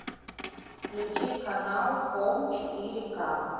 включи канал хоум четыре к